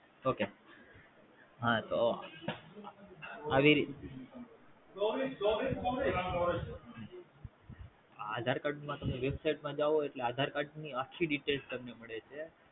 okay હા તો આવી Aadhra Card માં તમે Website માં જાઓ એટલે Aadhra Card ની આખ્ખી Detail તમને મળે છે